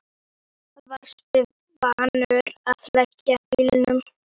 Fer að rifja upp sögu þessara húsgagna.